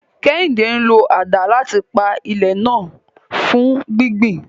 Kehinde ń lo àdá láti pa ilẹ̀ náà rẹ́ fún gbígbìn.